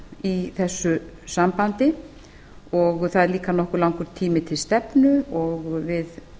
í þessu sambandi það er líka nokkuð langur tími til stefnu og við